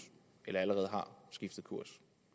eller allerede har skiftet kurs